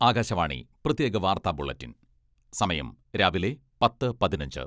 ആകാശവാണി പ്രത്യേക വാർത്താ ബുള്ളറ്റിൻ സമയം രാവിലെ പത്ത് പതിനഞ്ച്